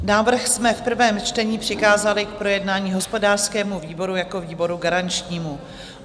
Návrh jsme v prvém čtení přikázali k projednání hospodářskému výboru jako výboru garančnímu.